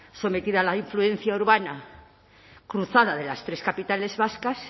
sometida a la influencia urbana cruzada de las tres capitales vascas